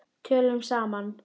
Tölum saman.